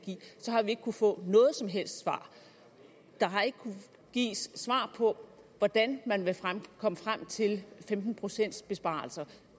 ikke kunnet få noget som helst svar der har ikke kunnet gives svar på hvordan man vil komme frem til femten procent besparelser